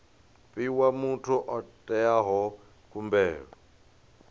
fhiwa muthu o itaho khumbelo